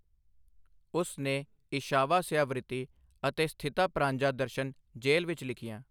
ਉਸ ਨੇ 'ਈਸ਼ਾਵਾਸਿਆਵ੍ਰਿਤੀ' ਅਤੇ 'ਸਥਿਤਾਪ੍ਰਾਂਜਾ ਦਰਸ਼ਨ' ਜੇਲ੍ਹ ਵਿੱਚ ਲਿਖੀਆਂ।